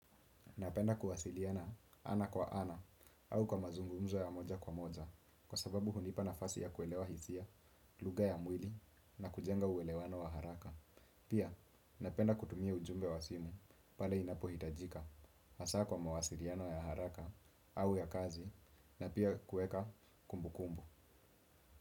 Napenda kuwasiliana ana kwa ana au kwa mazungumzo ya moja kwa moja kwa sababu hunipa nafasi ya kuelewa hisia, lugha ya mwili na kujenga uwelewano wa haraka. Pia, napenda kutumia ujumbe wa simu pale inapohitajika, hasa kwa mawasiliano ya haraka au ya kazi na pia kuweka kumbu kumbu.